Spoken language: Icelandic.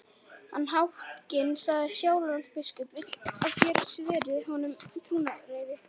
Hans hátign, sagði Sjálandsbiskup,-vill að þér sverjið honum trúnaðareið.